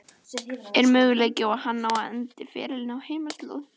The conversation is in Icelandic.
Er möguleiki á að hann endi ferilinn á heimaslóðum?